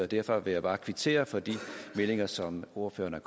derfor vil jeg bare kvittere for de meldinger som ordføreren